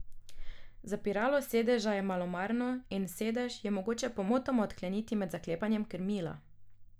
Zapiralo sedeža je malomarno in sedež je mogoče pomotoma odkleniti med zaklepanjem krmila.